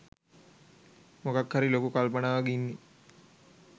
මොකක් හරි ලොකු කල්පනාවක ඉන්නේ